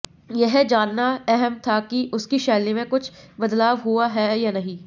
यह जानना अहम था कि उसकी शैली में कुछ बदलाव हुआ है या नहीं